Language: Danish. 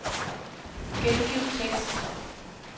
Gengiv tekst.